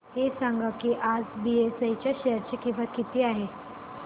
हे सांगा की आज बीएसई च्या शेअर ची किंमत किती आहे